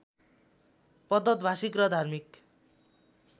प्रदत्त भाषिक र धार्मिक